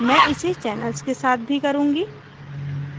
मैं इसे channels के साथ भी करुँगी